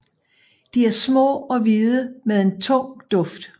De er små og hvide med en tung duft